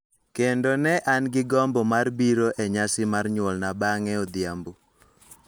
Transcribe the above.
Kendo ne an gi gombo mar biro e nyasi mar nyuolna bang�e odhiambo.